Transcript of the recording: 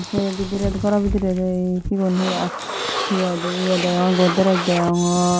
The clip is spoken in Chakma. sei bidirey goraw bidiredi sigun he aa he hoidey ye degong godrej deyongor.